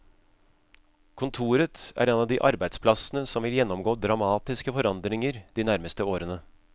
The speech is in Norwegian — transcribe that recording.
Kontoret er en av de arbeidsplassene som vil gjennomgå dramatiske forandringer de nærmeste årene.